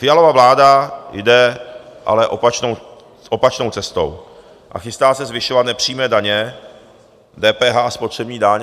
Fialova vláda jde ale opačnou cestou a chystá se zvyšovat nepřímé daně, DPH a spotřební daň.